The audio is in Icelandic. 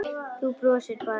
Þú brosir bara!